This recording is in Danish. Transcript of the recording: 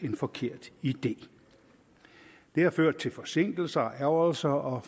en forkert idé det har ført til forsinkelser og ærgrelser og